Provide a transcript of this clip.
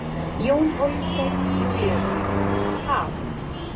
Jón Hólmsteinn Júlíusson: Ha?